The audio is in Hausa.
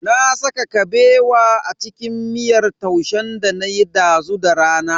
Na saka Kabewa a cikin miyar taushen danayi dazu da rana.